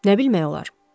Nə bilmək olar?